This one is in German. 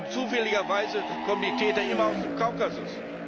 Und zufälligerweise kommen die Täter immer aus dem Kaukasus.